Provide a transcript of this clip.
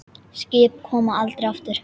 Skip koma aldrei aftur.